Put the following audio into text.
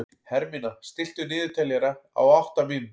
Hermína, stilltu niðurteljara á átta mínútur.